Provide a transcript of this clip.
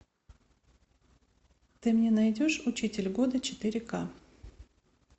ты мне найдешь учитель года четыре ка